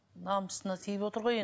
намысына тиіп отыр ғой